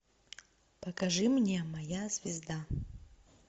покажи мне моя звезда